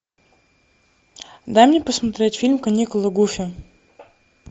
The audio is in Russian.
дай мне посмотреть фильм каникулы гуфи